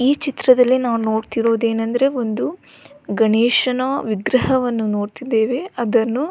ಈ ಚಿತ್ರದಲ್ಲಿ ನಾವು ನೋಡ್ತಿರೋದು ಏನಂದ್ರೆ ಒಂದು ಗಣೇಶನ ವಿಗ್ರಹವನ್ನು ನೋಡ್ತಿದೇವೆ ಅದನ್ನು --